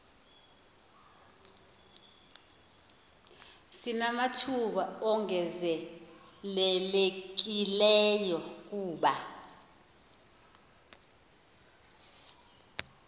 sinamathuba ongezelelekileyo kuba